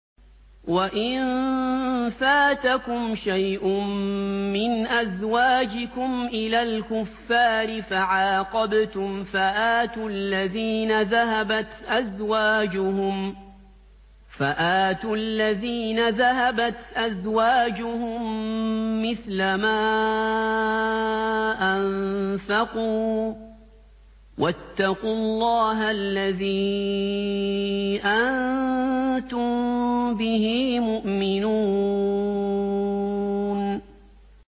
وَإِن فَاتَكُمْ شَيْءٌ مِّنْ أَزْوَاجِكُمْ إِلَى الْكُفَّارِ فَعَاقَبْتُمْ فَآتُوا الَّذِينَ ذَهَبَتْ أَزْوَاجُهُم مِّثْلَ مَا أَنفَقُوا ۚ وَاتَّقُوا اللَّهَ الَّذِي أَنتُم بِهِ مُؤْمِنُونَ